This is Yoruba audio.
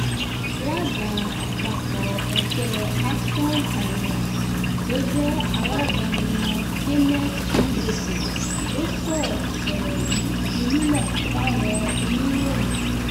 alága àpapọ̀ ẹgbẹ́ action alliance tó jẹ́ alága wọn kenneth udese ló sọ̀rọ̀ sọ̀rọ̀ yìí di mímọ̀ fáwọn oníròyìn